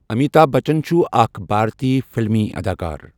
امیتابھ بچن چھُ آكھ بھارتی فلمی اداکار